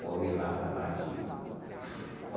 Corri lá, bati.